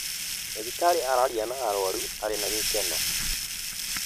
Ndagĩtarĩ araaria na arũaru ena gĩkeno